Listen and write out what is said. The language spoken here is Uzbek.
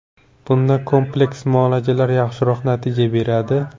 Bunda kompleks muolajalar yaxshiroq natija beradi.